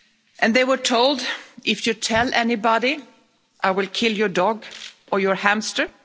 And they were told, if you tell anybody, I will kill your dog or your hamster'.